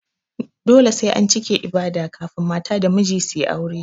Dole sai an cike ibada kafun mata da miji suyi aure